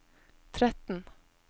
tretten